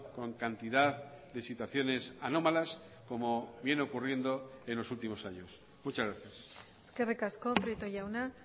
con cantidad de situaciones anómalas como viene ocurriendo en los últimos años muchas gracias eskerrik asko prieto jauna